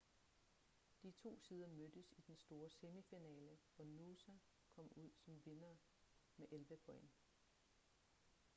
de to sider mødtes i den store semifinale hvor noosa kom ud som vindere med 11 point